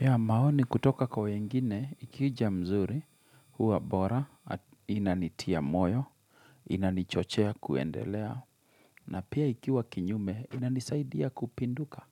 Ya maoni kutoka kwa wengine, ikija mzuri, huwa bora, inanitia moyo, inanichochea kuendelea, na pia ikiwa kinyume, inanisaidia kupinduka,